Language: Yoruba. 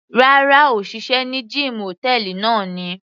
Rárá, òṣìṣẹ́ ní gíìmù hòtẹ́ẹ̀lì náà ni.